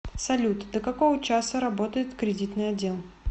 салют до которого часа работает кредитный отдел